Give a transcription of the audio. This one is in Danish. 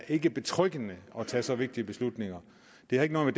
ikke betryggende at tage så vigtige beslutninger det har ikke noget